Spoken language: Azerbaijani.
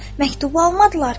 Məktubu almadılar ki?